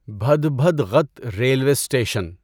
بھدبھدغت railway station